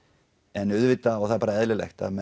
en auðvitað og það er bara eðlilegt